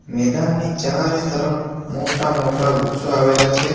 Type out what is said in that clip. મેદાનની ચારે મોટા-મોટા વૃક્ષો આવેલા છે.